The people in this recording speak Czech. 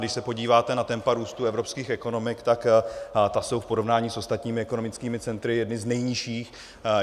Když se podíváte na tempa růstu evropských ekonomik, tak ta jsou v porovnání s ostatními ekonomickými centry jedna z nejnižších.